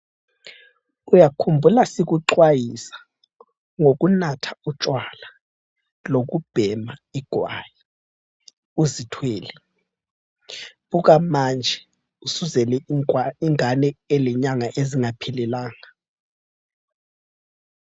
Uyakhumbula sikuxwayisa ngokunatha utshwala lokubhema igwayi uzithwele. Buka manje usuzele ingane elenyanga ezingaphelelanga.